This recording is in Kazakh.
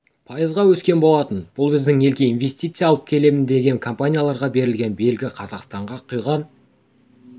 пайызға өскен болатын бұл біздің елге инвестиция алып келемін деген компанияларға берілген белгі қазақстанға құйған